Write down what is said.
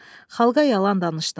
Xalqa yalan danışdın.